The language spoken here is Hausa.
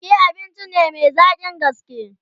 Rake abinci ne Mai zaƙin gaske